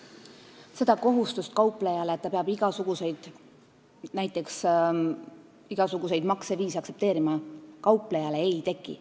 Seda kohustust kauplejal, et ta peab näiteks igasuguseid makseviise aktsepteerima, ei teki.